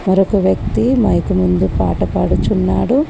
మరొక వ్యక్తి మైక్ ముందు పాట పాడుచున్నాడు.